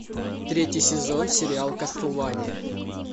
третий сезон сериал кастлвания